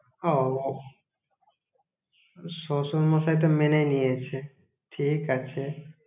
ওওউ শশুরমশাই তো মেনেই নিয়েছে, ঠিক আছে।